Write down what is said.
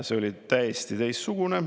See oli täiesti teistsugune.